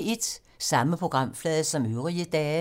Samme programflade som øvrige dage